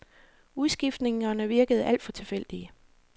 Udskiftningerne virkede alt for tilfældige.